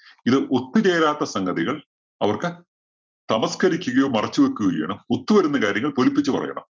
ഇത് ഒത്തുചേരാത്ത സംഗതികൾ അവർക്ക് തമസ്കരിക്കുകയോ, മറച്ചു വയ്ക്കുകയോ ചെയ്യണം. ഒത്തു വരുന്ന കാര്യങ്ങൾ പൊലിപ്പിച്ചു പറയണം.